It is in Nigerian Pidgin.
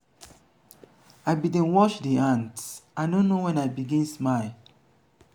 i bin dey watch di ants i no know wen i begin smile.